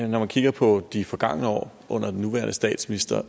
når man kigger på de forgangne år under den nuværende statsminister